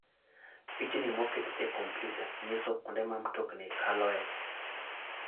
Pichni moket e kompyuta nyiso kuonde ma mtokni kaloe.